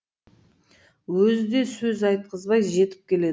өзі де сөз айтқызбай жетіп келеді